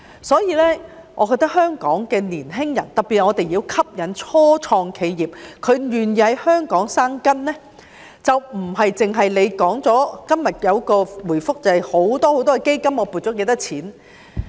所以，我覺得香港的年輕人，特別是我們要吸引初創企業，令他們願意在香港生根，就不只是局長今天在回覆中說設有很多基金，撥了多少錢。